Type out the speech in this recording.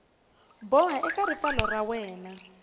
boha eka ripfalo ra wena